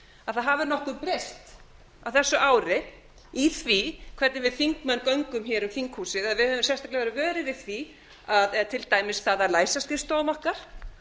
að nokkuð hafi breyst á þessu ári í því hvernig við þingmenn göngum hér um þinghúsið eða við höfum sérstaklega verið vöruð við því til dæmis það að læsa skrifstofum okkar